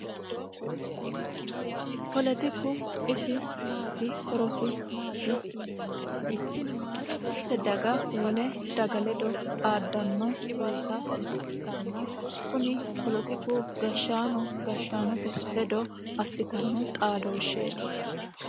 polotiku isi maati horosi maati yinommoha ikkiro mitte daga wole daga ledo xaaddanno buusa ikkanna kuni polotiku gashshaano gashshaanote ledo assitanno xaadooshsheeti